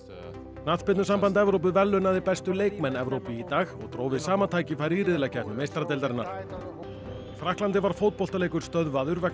knattspyrnusamband Evrópu verðlaunaði bestu leikmenn Evrópu í dag og dró við sama tækifæri í riðlakeppni meistaradeildarinnar í Frakklandi var leikur stöðvaður vegna